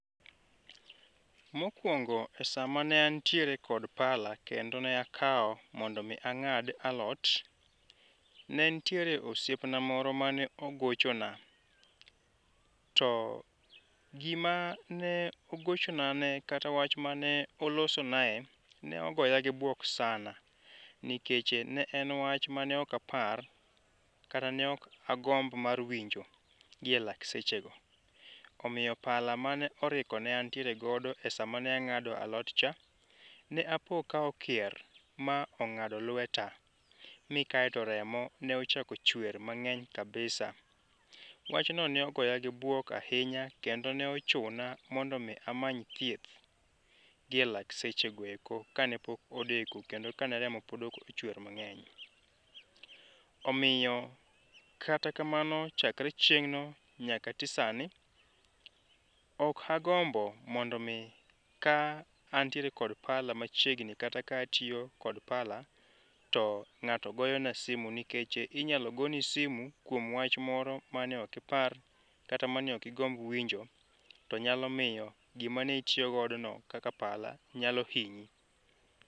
Mokuongo esa ma ne antiere kod pala kendo ne akawo mondo mi ang'ad alot, ne nitiere osiepna moro mane ogochona. To gima ne ogochonane kata wach mane olosonae ne ogoya gi buok sana, ne en wach mane ok apar kata ne ok agomb mar winjo gielak sechego. Omiyo pala mane oriko ne antiere godo esa mane ag'ado alotcha, ne apo ka okier ma ong'ado lueta. Mi kae to remo ne ochako chwer mang'eny kabisa. Wachno ne ogoya gi bwok ahinya kendo ne ochuna mondo mi amany thieth gielak sechego eko kane pok odeko kendo kane remo pok chwer mang'eny. Omiyo kata kamano chakre chieng'no nyaka ati sani, ok agombo mondo mi ka antiere kod pala machiegni kata ka atiyo kod pala to ng'ato goyona simu nikech inyalo goni simu kuom wach moro mane ok ipar kata mane ok igomb winjo to nyalo miyo gima ne itiyo godono kaka pala nyalo hinyi.